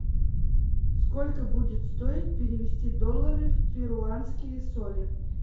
сколько будет стоить перевести доллары в перуанские соли